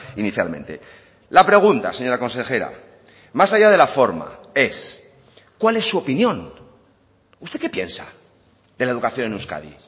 inicialmente la pregunta señora consejera más allá de la forma es cuál es su opinión usted qué piensa de la educación en euskadi